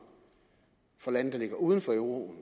for lande der er uden for euroen